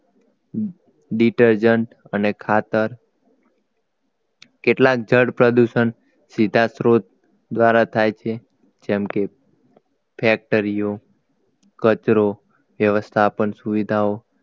Detergent અને ખાતર કેટલાક જળ પ્રદૂષણ સીધા સ્ત્રોત દ્વારા થાય છે જેમ કે factory ઓ કચરો વ્યવસ્થાપન સુવિધાઓ